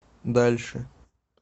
дальше